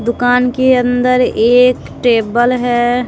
दुकान के अंदर एक टेबल है।